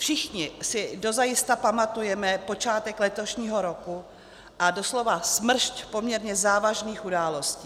Všichni si dozajista pamatujeme počátek letošního roku a doslova smršť poměrně závažných událostí.